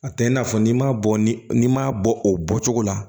A tɛ i n'a fɔ n'i m'a bɔ ni n'i m'a bɔ o bɔcogo la